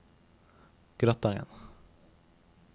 Gratangen